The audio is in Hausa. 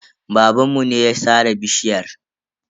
Babanmu ne ya sare bishiyar.